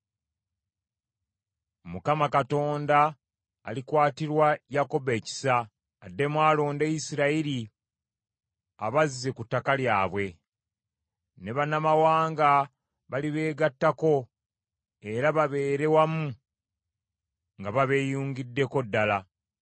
Mukama Katonda alikwatirwa Yakobo ekisa, addemu alonde Isirayiri abazze ku ttaka lyabwe. Ne bannamawanga balibeegattako era babeere wamu nga babeeyungiddeko ddala.